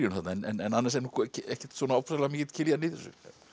þarna en annars er nú ekkert ofsalega mikill Kiljan í þessu